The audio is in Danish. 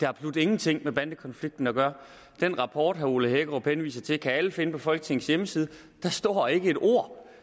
absolut ingenting med bandekonflikten at gøre den rapport herre ole hækkerup henviser til kan alle finde på folketingets hjemmeside og der står ikke et ord